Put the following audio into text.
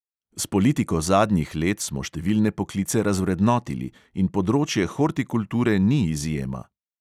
S politiko zadnjih let smo številne poklice razvrednotili in področje hortikulture ni izjema.